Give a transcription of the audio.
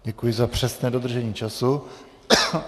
Děkuji za přesné dodržení času.